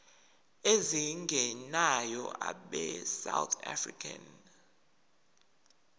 ezingenayo abesouth african